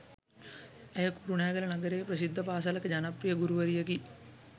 ඇය කුරුණෑගල නගරයේ ප්‍රසිද්ධ පාසලක ජනප්‍රිය ගුරුවරියකි.